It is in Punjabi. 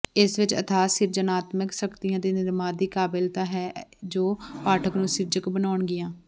ਇਸ ਵਿਚ ਅਥਾਹ ਸਿਰਜਣਾਤਮਕ ਸ਼ਕਤੀਆਂ ਦੇ ਨਿਰਮਾਦ ਦੀ ਕਾਬਲੀਅਤ ਹੈ ਜੋ ਪਾਠਕ ਨੂੰ ਸਿਰਜਕ ਬਣਾਉਣਗੀਆਂ